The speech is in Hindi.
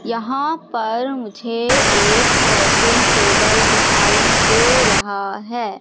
यहां पर मुझे एक वर्किंग टेबल दिखाई दे रहा है।